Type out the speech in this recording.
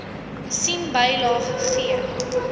sien bylaag g